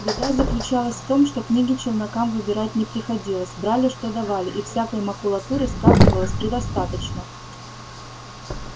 беда заключалась в том что книги челнокам выбирать не приходилось брали что давали и всякой макулатуры скапливалось предостаточно